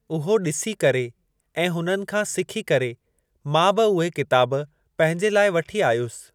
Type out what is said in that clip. उहो ॾिसी करे ऐं हुननि खां सिखी करे मां बि उहे किताब पंहिंजे लाइ वठी आयुसि।